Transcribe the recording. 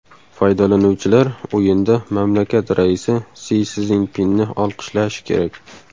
Foydalanuvchilar o‘yinda mamlakat raisi Si Szinpinni olqishlashi kerak.